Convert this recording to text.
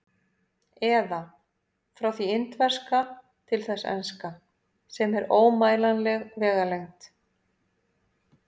Eða: frá því indverska til þess enska, sem er ómælanleg vegalengd.